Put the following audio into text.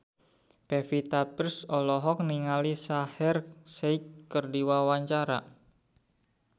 Pevita Pearce olohok ningali Shaheer Sheikh keur diwawancara